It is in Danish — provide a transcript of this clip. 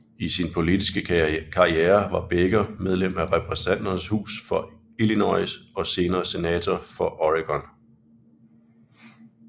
I sin politiske karriere var Baker medlem af Repræsentanternes Hus for Illinois og senere Senator for Oregon